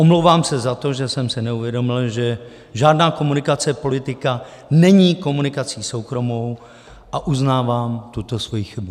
Omlouvám se za to, že jsem si neuvědomil, že žádná komunikace politika není komunikací soukromou, a uznávám tuto svoji chybu.